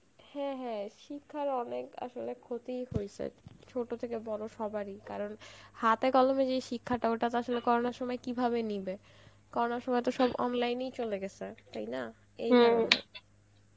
হ্যাঁ হ্যাঁ শিক্ষার আসলে অনেক ক্ষতিই হয়েছে, চত থেকে বড় সবার ই কারণ, হাতে কলমে যে শিক্ষাটা ওটা তো করোনার সময় কিভাবে নিবে coronar সময় তো সব online এই চলে গেছে তাই না